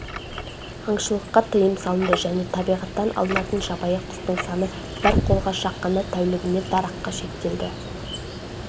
аңшылыққа тыйым салынды және табиғаттан алынатын жабайы құстың саны бір қолға шаққанда тәулігіне дараққа шектелді